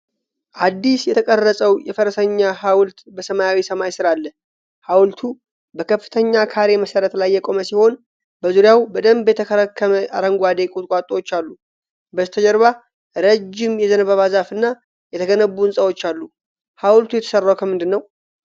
አዲስ የተቀረጸው የፈረሰኛ ሀውልት በሰማያዊ ሰማይ ስር አለ። ሀውልቱ በከፍተኛ ካሬ መሠረት ላይ የቆመ ሲሆን፣ በዙሪያው በደንብ የተከረከሙ አረንጓዴ ቁጥቋጦዎች አሉ። በስተጀርባ ረጅም የዘንባባ ዛፍና የተገነቡ ህንጻዎች አሉ። ሀውልቱ የተሠራው ከምንድነው?